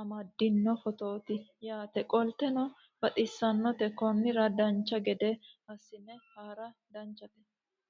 amaddino footooti yaate qoltenno baxissannote konnira dancha gede assine haara danchate